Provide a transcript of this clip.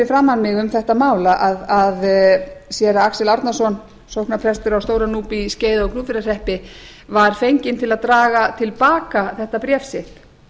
mig um þetta mál að séra axel árnason sóknarprestur á stóra núpi í skeiða og gnúpverjahreppi var fenginn til að draga til baka þetta bréf sitt